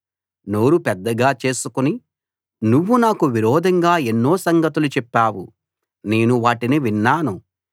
నోరు పెద్దగా చేసుకుని నువ్వు నాకు విరోధంగా ఎన్నో సంగతులు చెప్పావు నేను వాటిని విన్నాను